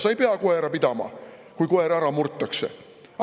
Sa ei pea koera pidama, kui koer ära murtakse.